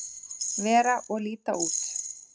vera og líta út.